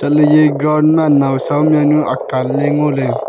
ale ye ground ma nawsam ya nu akaan le ngole.